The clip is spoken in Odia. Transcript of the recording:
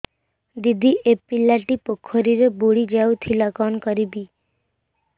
ଦିଦି ଏ ପିଲାଟି ପୋଖରୀରେ ବୁଡ଼ି ଯାଉଥିଲା କଣ କରିବି